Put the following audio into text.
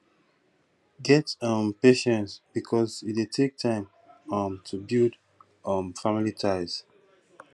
get um patience because e dey take time um to build um family ties